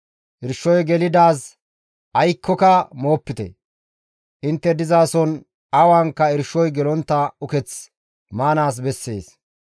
Irshoy gelidaaz aykkoka moopite; intte dizason awanka irshoy gelontta uketh maanaas bessees.»